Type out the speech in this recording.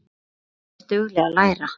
Og er dugleg að læra.